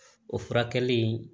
O furakɛli in